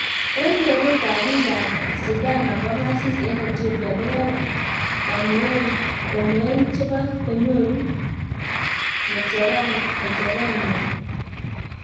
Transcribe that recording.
Eng keree ab biik ab Sidama kongasis eng Ethiopia koyae kamoein chebo konyuru ngekecherengwana